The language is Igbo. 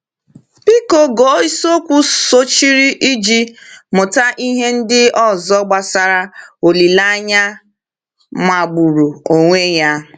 Biko gụọ isiokwu sochiri iji mụta ihe ndị ọzọ gbasara olileanya magburu onwe ya.